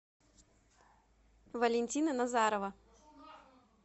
валентина назарова